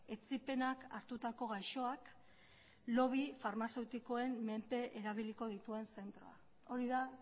etsipenak hartutako gaixoak lobby farmazeutikoen menpe erabiliko dituen zentroa hori da